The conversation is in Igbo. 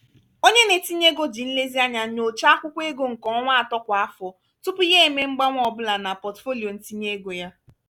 Onye na-etinye ego ji nlezianya nyochaa akwụkwọ ego nke ọnwa atọ kwa afọ, tupu ya emee mgbanwe ọ bụla na pọtụfoliyo ntinye ego ya.